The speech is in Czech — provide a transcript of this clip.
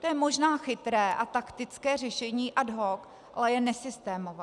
To je možná chytré a taktické řešení ad hoc, ale je nesystémové.